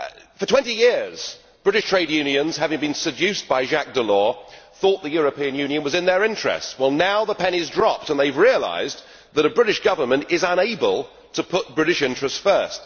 For 20 years, British trade unions, having being seduced by Jacques Delors, thought the European Union was in their interests. Well, now the penny has dropped and they have realised that a British government is unable to put British interests first.